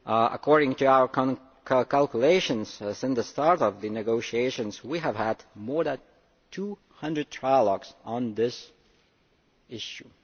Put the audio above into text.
According to our calculations, since the start of the negotiations we have had more than 200 trialogues on this issue.